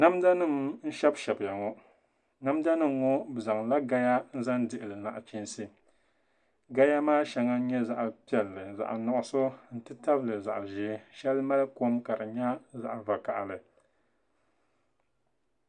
Namda nim n shɛbi shɛbiya ŋɔ namda nim ŋɔ bi zaŋla gaya n zaŋ dihili nachiinsi gaya maa shɛŋa n nyɛ zaɣ piɛlli zaɣ nuɣso n titabili zaɣ ʒiɛ shɛli mali kom ka di nyɛ zaɣ vakaɣali